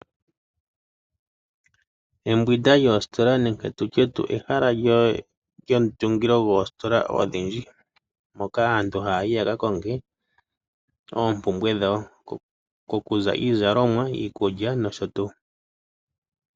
Embwinda lyoositola nenge tutye ehala lyomutungilo dhoositola odhindji mpoka aantu haya yi yakakonge oompumbwe dhawo. Kokuza iizalomwa, iikulya nosho tuu.